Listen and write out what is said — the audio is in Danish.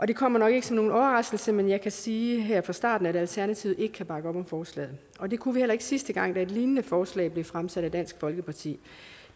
det kommer nok ikke som nogen overraskelse men jeg kan sige her fra starten at alternativet ikke kan bakke op om forslaget og det kunne vi heller ikke sidste gang et lignende forslag blev fremsat af dansk folkeparti